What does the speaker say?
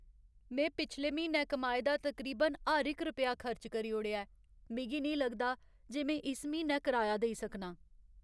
में पिछले म्हीनै कमाए दा तकरीबन हर इक रपेआऽ खर्च करी ओड़ेआ ऐ। मिगी नेईं लगदा जे में इस म्हीनै कराया देई सकनां।